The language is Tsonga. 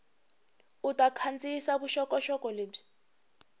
u ta kandziyisa vuxokoxoko lebyi